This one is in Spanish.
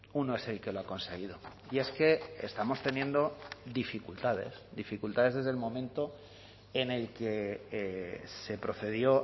uno es el que lo ha conseguido y es que estamos teniendo dificultades dificultades desde el momento en el que se procedió